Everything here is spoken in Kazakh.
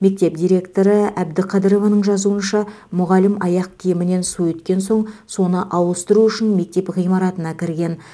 мектеп директоры әбдіқадырованың жазуынша мұғалім аяқ киімінен су өткен соң соны ауыстыру үшін мектеп ғимаратына кірген